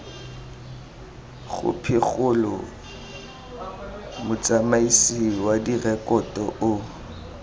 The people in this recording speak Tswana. khopikgolo motsamaisi wa direkoto o